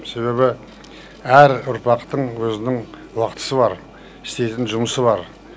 себебі әр ұрпақтың өзінің уақытысы бар істейтін жұмысы бар